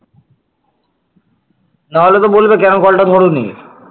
না হলে তো বলবে, কেন call টা ধরোনি?